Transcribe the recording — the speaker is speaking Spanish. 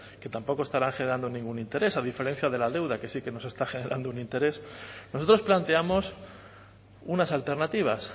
que tampoco estarán generando ningún interés a diferencia de la deuda que sí que nos está generando un interés nosotros planteamos unas alternativas